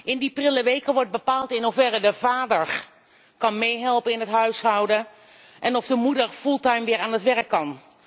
In die prille weken wordt bepaald in hoeverre de vader kan meehelpen in het huishouden en of de moeder weer fulltime aan het werk kan.